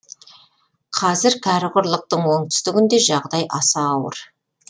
қазір кәрі құрлықтың оңтүстігінде жағдай аса ауыр